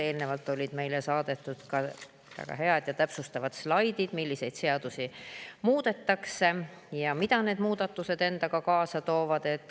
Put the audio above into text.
Eelnevalt olid meile saadetud ka väga head ja täpsustavad slaidid selle kohta, milliseid seadusi muudetakse ja mida need muudatused endaga kaasa toovad.